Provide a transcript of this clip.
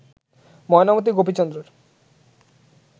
Mainamati গোপীচন্দ্রের